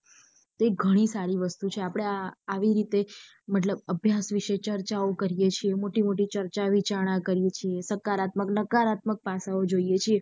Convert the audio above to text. તે ગણી સારી વસ્તુ છે આપડે આ આવીરીતે મતલબ અભ્યાસ વિશે ચર્ચાઓ કરીયે છીએ મોટી મોટી ચર્ચા વિચારણા કરીયે છીએ સકારાત્મક નકારાત્મક પાસાઓ જોઈએ છેએ.